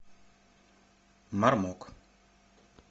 мармок